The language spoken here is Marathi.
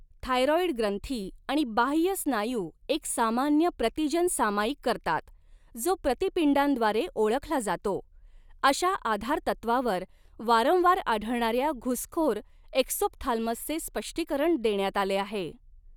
थायरॉईड ग्रंथी आणि बाह्य स्नायू एक सामान्य प्रतिजन सामायिक करतात जो प्रतिपिंडांद्वारे ओळखला जातो, अशा आधारतत्वावर वारंवार आढळणाऱ्या घुसखोर एक्सोप्थाल्मसचे स्पष्टीकरण देण्यात आले आहे.